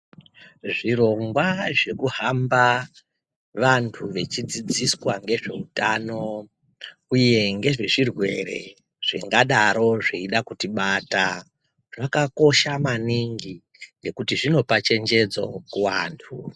Zvirongwa zvekuhamba vanthu vechidzidziswa ngezveutano uye ngezvezvirwere zvingadaro zveida kuti bata zvakakosha maningi ngekuti zvinopa chenjedzo kuanthu.